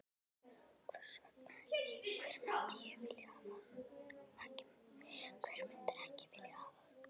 Hvers vegna ekki, hver myndi ekki vilja hafa hann?